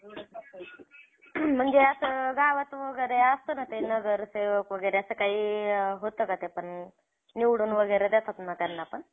मग चार पाच वाजता, मग तिथं जरा hotel होतं, hotel वरती थांबलो, तिथं चहा नाश्ता, तोंड धुणं, अंघोळ करणं ते झालं.